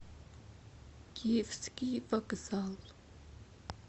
киевский вокзал